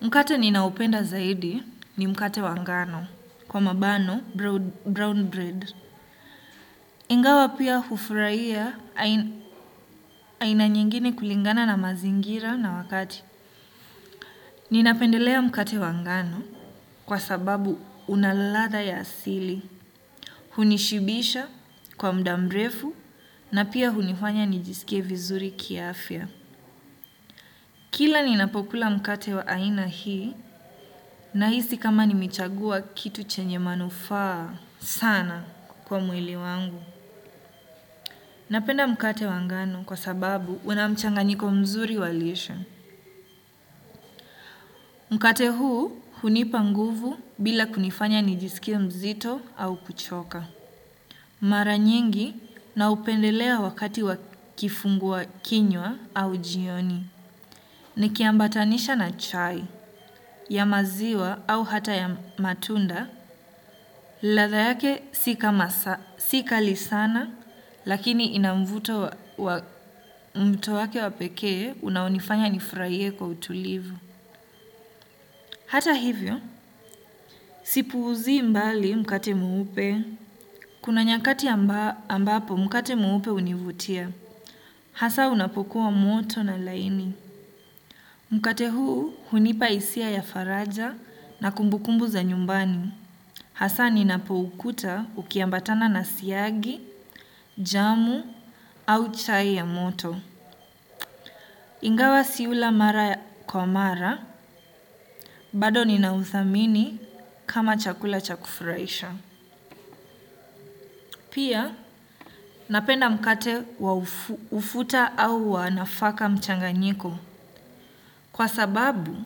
Mkate ninaoupenda zaidi ni mkate wa wagano kwa mabano (brown bread.) Ingawa pia hufurahia aina nyengine kulingana na mazingira na wakati. Ninapendelea mkate wangano kwa sababu unaladha ya asili. Hunishibisha kwa muda mrefu na pia hunifanya nijisikievizuri kiafya. Kila ninapokula mkate wa aina hii nahisi kama nimechagua kitu chenye manufaa. Sana kwa mwili wangu. Napenda mkate wangano kwa sababu unamchanganyiko mzuri walishe. Mkate huu hunipa nguvu bila kunifanya nijisikie mzito au kuchoka. Mara nyingi na upendelea wakati wa kifungua kinywa au jioni. Nikiambatanisha na chai ya maziwa au hata matunda. Ladhaa yake si kali sana, lakini inamvuto wa mto wake wapeke, unaounifanya nifurahie kwa utulivu. Hata hivyo, sipuuzi mbali mkate mweupe. Kuna nyakati ambapo mkate muupe univutia. Hasa unapokuwa moto na laini. Mkate huu hunipa hisia ya faraja na kumbukumbu za nyumbani. Hasaa ninapoukuta ukiambatana na siyagi, jamu au chai ya moto. Ingawa sisi hula mara kwa mara, bado ninauthamini kama chakula chakufurahisha. Pia, napenda mkate wa ufuta au wanafaka mchanganyiko. Kwa sababu,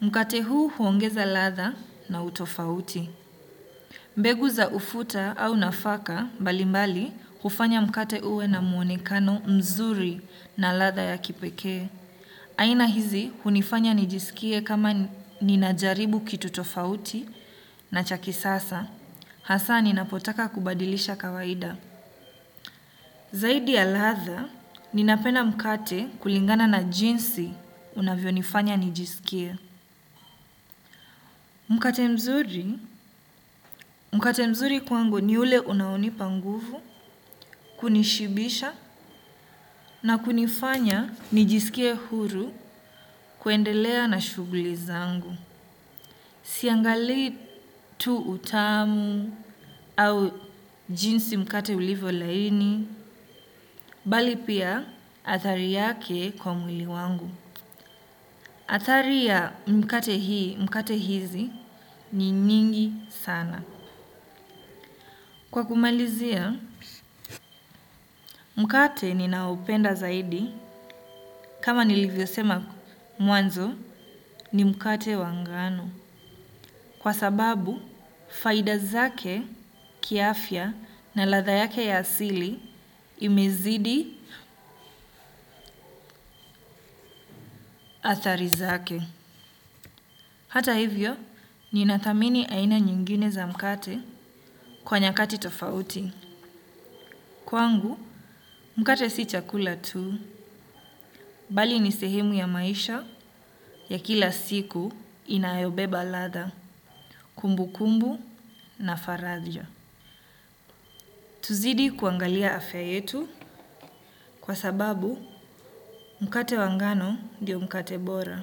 mkate huu huongeza ladhaa na utofauti. Mbegu za ufuta au nafaka mbalimbali hufanya mkate uwe na muonekano mzuri na ladha ya kipekee. Aina hizi hunifanya nijisikie kama ninajaribu kitu tofauti na cha kisasa. Hasaa ninapotaka kubadilisha kawaida. Zaidi ya ladha, ninapenda mkate kulingana na jinsi unavyo nifanya nijisikie. Mkate mzuri, mkate mzuri kwangu ni ule unaounipa nguvu, kunishibisha na kunifanya nijisikie huru kuendelea na shughuli zangu. Siangali tu utamu au jinsi mkate ulivyo laini, bali pia athari yake kwa mwili wangu. Athari ya mikate hizi ni nyingi sana. Kwa kumalizia, mkate ninaoupenda zaidi kama nilivyo sema mwanzo ni mkate wangano. Kwa sababu, faida zake kiafya na ladha yake ya asili imezidi athari zake. Hata hivyo, ninathamini aina nyingine za mkate kwa nyakati tofauti. Kwangu, mkate si chakula tu, bali ni sehemu ya maisha ya kila siku inayobeba ladha kumbukumbu na faraja. Tuzidi kuangalia afya yetu kwa sababu mkate wangano ndioo mkate bora.